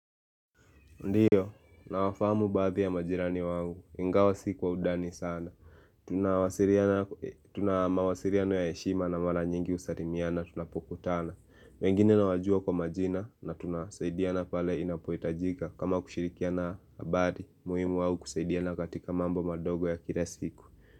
Ndiyo, nawafamu baadhi ya majirani wangu, ingawa siku kwa undani sana. Tunamawasiliano ya heshima na mara nyingi husalimiana, tunapokutana. Wengine nawajua kwa majina na tunasaidiana pale inapohitajika. Kama kushirikiana bali, muhimu ama kusaidiana katika mambo madogo ya kila siku.